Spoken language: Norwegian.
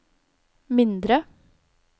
mindre